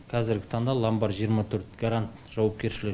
қазіргі таңда ломбард жиырма төрт гарант жауапкершілігі